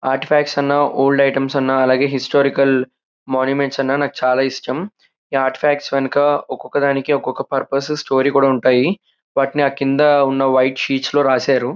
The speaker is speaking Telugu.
ఆర్ట్ ఫాక్ట్స్ అన్న ఓల్డ్ ఐటమ్స్ అన్న అలాగే హిస్టారికల్ మాన్యుమెంట్స్ అన్న నాకు చాలా ఇష్టం ఈ ఆర్ట్ ఫాక్ట్స్ యెనక ఒక ఒక దానికి ఒక ఒక పుర్పస్ స్టోరీ కూడా ఉంటాయి. వాటిని కింద ఉన్న వైట్ షీట్స్ లో రాశారు.